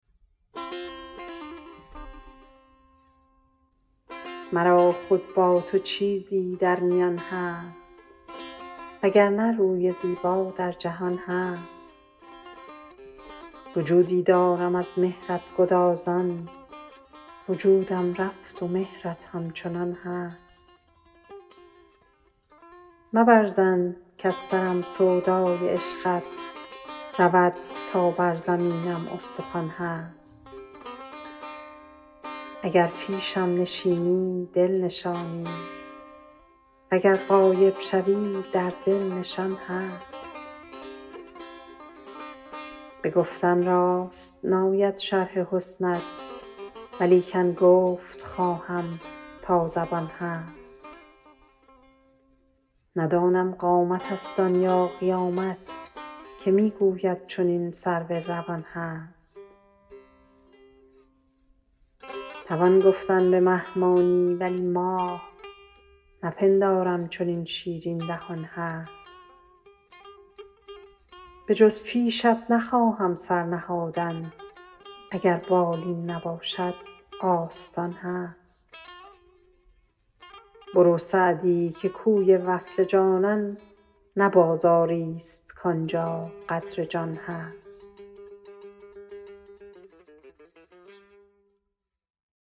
مرا خود با تو چیزی در میان هست و گر نه روی زیبا در جهان هست وجودی دارم از مهرت گدازان وجودم رفت و مهرت همچنان هست مبر ظن کز سرم سودای عشقت رود تا بر زمینم استخوان هست اگر پیشم نشینی دل نشانی و گر غایب شوی در دل نشان هست به گفتن راست ناید شرح حسنت ولیکن گفت خواهم تا زبان هست ندانم قامتست آن یا قیامت که می گوید چنین سرو روان هست توان گفتن به مه مانی ولی ماه نپندارم چنین شیرین دهان هست بجز پیشت نخواهم سر نهادن اگر بالین نباشد آستان هست برو سعدی که کوی وصل جانان نه بازاریست کان جا قدر جان هست